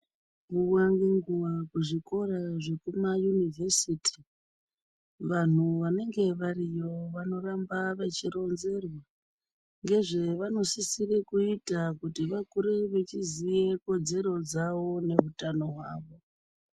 Nguwa ngenguwa kuzvikora zvekumaunivhesiti vanhu vanenge variyo vanoramba vachironzerwa ngezvevanosisira kuita kuti vakure vachiziva kodzero dzawo nehutano hwavo.